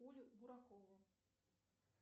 оля буракова